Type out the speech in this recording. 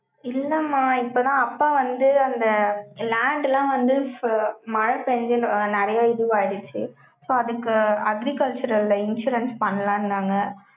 இல்லம்மா, இப்பதான் அப்பா வந்து, அந்த land எல்லாம் வந்து, மழை பேஞ்சு, நிறைய இதுவாயிடுச்சு. So அதுக்கு, agricultural ல, insurance பண்ணலாம்ன்னாங்க.